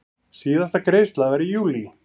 Síðasta greiðsla var í júlí.